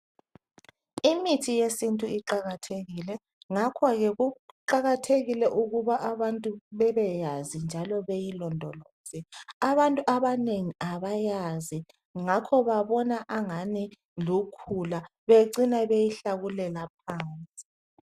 Imithi yesintu iqakathekile ngakho kuqakathekile ukuba abantu bebeyazi njalo ayilondoloze. Abantu abanengi abayazi ngakho bacina bebona ingani lukhula becine beyihlakulela phansi.